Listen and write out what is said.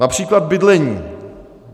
Například bydlení.